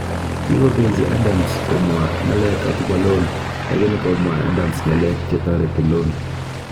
Kokibechi Adams komwa ng'alek akobo Loan, lakini komwa Adams ng'alek che tareti Loan